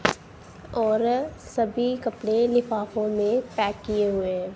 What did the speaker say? और सभी कपड़े लिफाफों में पैक किए हुए हैं।